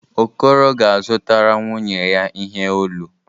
Okoro ga-azụtara nwunye ya ihe olu.